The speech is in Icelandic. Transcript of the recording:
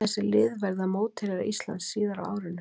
Þessi lið verða mótherjar Íslands síðar á árinu.